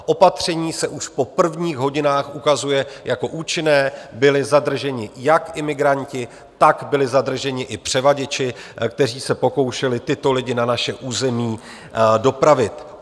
Opatření se už po prvních hodinách ukazuje jako účinné, byli zadrženi jak imigranti, tak byli zadrženi i převaděči, kteří se pokoušeli tyto lidi na naše území dopravit.